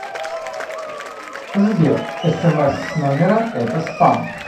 сбер смс с номера это спам